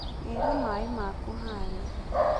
Gĩra maĩ maku harĩa